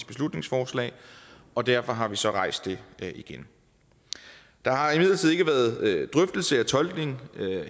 beslutningsforslag og derfor har vi så rejst det igen der har imidlertid ikke været drøftelser af tolkning